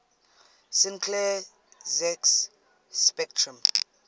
sinclair zx spectrum